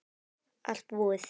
Allt búið